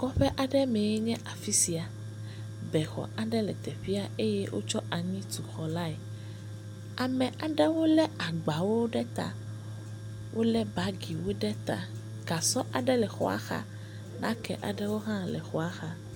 Kɔƒe mee aɖe nye ya le afisia. Be xɔ aɖe le teƒea, ye wotsɔ anyi tu xɔ lae. Ame aɖewo le agbawo ɖe ta. Wòle bagiwo ɖe ta. Gasɔ aɖe le xɔa xa. Nake aɖewo hã le xɔa xa.